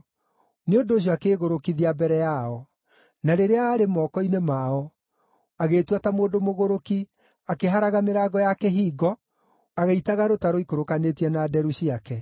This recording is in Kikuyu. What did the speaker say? Nĩ ũndũ ũcio akĩĩgũrũkithia mbere yao; na rĩrĩa aarĩ moko-inĩ mao, agĩĩtua ta mũndũ mũgũrũki, akĩharaga mĩrango ya kĩhingo, agĩitaga rũta rũikũrũkanĩtie na nderu ciake.